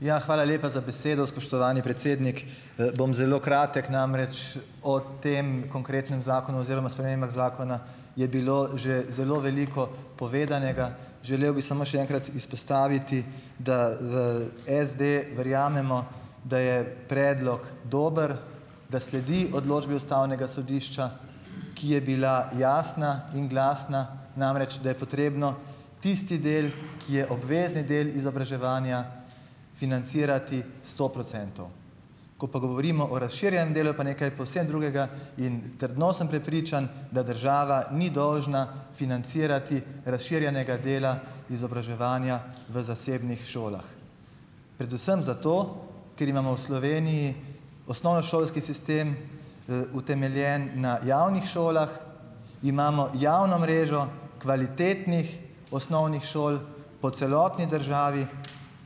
Ja, hvala lepa za besedo, spoštovani predsednik. Bom zelo kratek, namreč o tem konkretnem zakonu oziroma spremembah zakona je bilo že zelo veliko povedanega. Želel bi samo še enkrat izpostaviti, da v SD verjamemo, da je predlog dober, da sledi odločbi ustavnega sodišča, ki je bila jasna in glasna. Namreč da je potrebno tisti del, ki je obvezni del izobraževanja, financirati sto procentov. Ko pa govorimo o razširjenem delu, je pa nekaj povsem drugega, in trdno sem prepričan, da država ni dolžna financirati razširjenega dela izobraževanja v zasebnih šolah. Predvsem zato, ker imamo v Sloveniji osnovnošolski sistem, utemeljen na javnih šolah, imamo javno mrežo kvalitetnih osnovnih šol po celotni državi,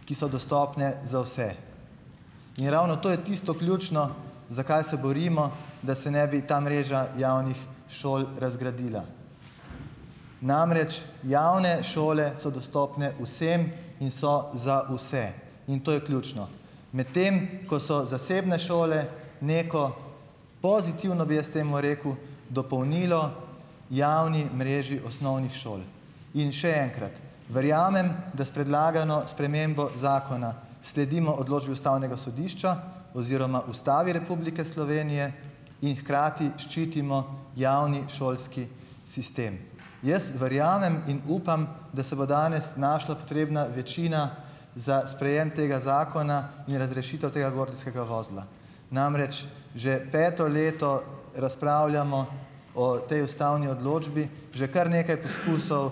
ki so dostopne za vse. In ravno to je tisto ključno, za kaj se borimo, da se ne bi ta mreža javnih šol razgradila. Namreč javne šole so dostopne vsem in so za vse. In to je ključno. Medtem ko so zasebne šole neko pozitivno, bi jaz temu rekel dopolnilo javni mreži osnovnih šol. In še enkrat - verjamem, da s predlagano spremembo zakona sledimo odločbi ustavnega sodišča oziroma Ustavi Republike Slovenije in hkrati ščitimo javni šolski sistem. Jaz verjamem in upam, da se bo danes našla potrebna večina za sprejem tega zakona in razrešitev tega gordijskega vozla. Namreč že peto leto razpravljamo o tej ustavni odločbi. Že kar nekaj poskusov,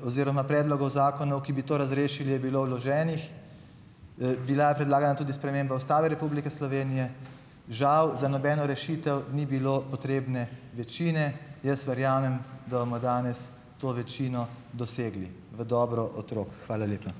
oziroma predlogov zakonov, ki bi to razrešili je bilo vloženih. Bila je predlagana tudi sprememba Ustave Republike Slovenije, žal za nobeno rešitev ni bilo potrebne večine. Jaz verjamem, da bomo danes to večino dosegli v dobro otrok. Hvala lepa.